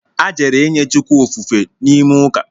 A jere inye Chukwu ofufe n’ime ụka